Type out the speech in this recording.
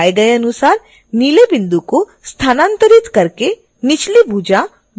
दिखाए गए अनुसार नीले बिंदु को स्थानांतरित करके निचली भुजा bone को खिसकाएँ